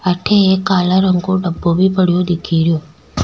अठे एक काला रंग को डब्बो भी पड्यो दिखे रो।